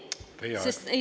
Teie aeg!